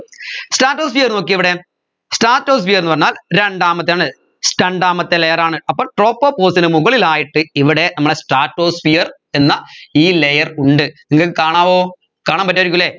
statosphere നോക്കിയേ ഇവിടെ stratosphere എന്ന് പറഞ്ഞാൽ രണ്ടാമത്തെയാണ് രണ്ടാമത്തെ layer ആണ് അപ്പോ tropopause ന് മുകളിലായിട്ട് ഇവിടെ നമ്മളെ stratosphere എന്ന ഈ layer ഉണ്ട് നിങ്ങൾക്ക് കാണാവോ കാണാൻപാട്ട്‌ആയിരിക്കുവല്ലേ